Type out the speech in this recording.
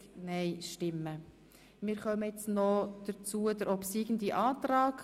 Wir kommen zur Abstimmung über den obsiegenden Antrag.